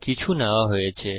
কিছু নেওয়া হয়েছে